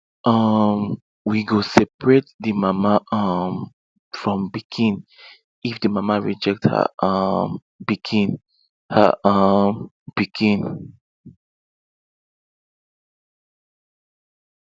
um we go seperate the mama um from pikin if the mama reject her um pikin her um pikin